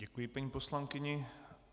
Děkuji paní poslankyni.